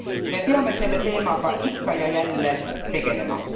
Me peame selle teemaga ikka ja jälle tegelema.